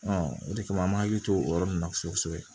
o de kama an m'an hakili to o yɔrɔ nunnu na kosɛbɛ kosɛbɛ